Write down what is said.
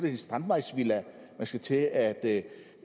en strandvejsvilla man skal til at